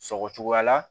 Sɔgɔsɔgɔ la